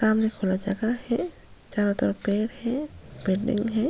सामने थोडा जगह है चारो तरफ पेड़ है बिल्डिंग है।